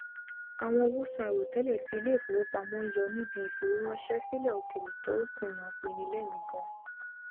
àwọn owóòsan àìròtẹlẹ tí ilé ìfowópamọ n yọ níbi ìfowóránṣẹ sílẹ òkèèrè tó kùnà pinni lẹmìí ganan